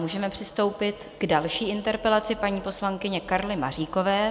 Můžeme přistoupit k další interpelaci paní poslankyně Karly Maříkové.